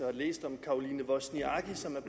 og læst om caroline wozniacki som er